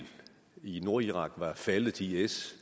i nordirak var faldet til is